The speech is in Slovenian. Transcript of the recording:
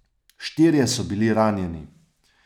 Štirje so bili ranjeni.